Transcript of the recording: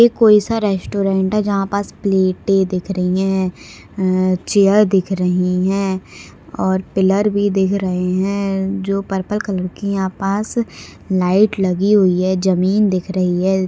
ये कोईसा रेस्ट्रारंट है जहा पास प्लेटे दिख रही है अ चेअर दिख रही है और पिल्लर भी दिख रहे है जो पर्पल कलर की यहा पास लाइट लगी हुई है जमीन दिख रही है।